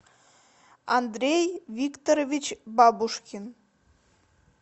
андрей викторович бабушкин